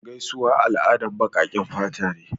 Gaisuwa al'adan baƙaƙen fata ne.